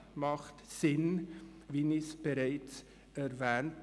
Wie ich bereits erwähnt habe, ist ein Prüfauftrag sinnvoll.